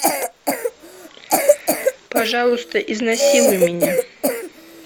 пожалуйста изнасилуй меня